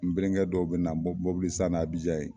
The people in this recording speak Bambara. N benlegɛ dɔw bɛna san nan Abijan yen